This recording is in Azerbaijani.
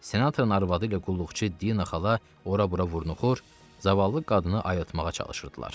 Senatorun arvadı ilə qulluqçu Dina xala ora-bura vurnuxur, zavallı qadını ayıtmağa çalışırdılar.